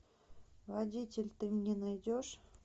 водитель ты мне найдешь